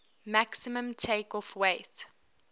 maximum takeoff weight